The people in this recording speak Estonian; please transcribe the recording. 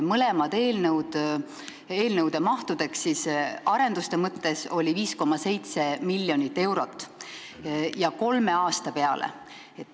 Mõlema eelnõu mahuks arenduste mõttes oli 5,7 miljonit eurot kolme aasta peale.